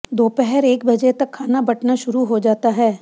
दोपहर एक बजे तक खाना बंटना शुरू हो जाता है